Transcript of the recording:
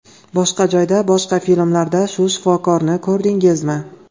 Boshqa joyda, boshqa filmlarda shu shifokorni ko‘rdingizmi?